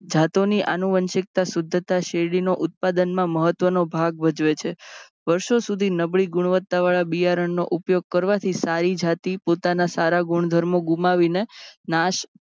જાતોની અનુવાંશિક્તા શુધ્ધતા શેરડીનો ઉત્પાદનમાં મહત્ત્વનો ભાગ ભજવે છે. વર્ષો સુધી નબળી ગુણવત્તાવાળા બિયારણનો ઉપયોગ કરવાથી સારી જાતી પોતાના સારા ગુણધર્મો ગુમાવીને નાશ